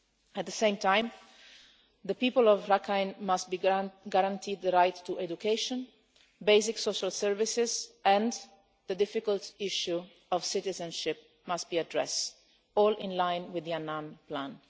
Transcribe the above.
At the same time, the people of Rakhine must be guaranteed the right to education and basic social services, and the difficult issue of citizenship must be addressed, all in line with the Annan plan.